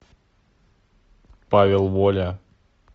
павел воля